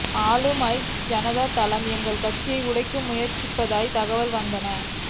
ஆளும் ஐக்கிய ஜனதா தளம் எங்கள் கட்சியை உடைக்க முயற்சிப்பதாக தகவல்கள் வந்தன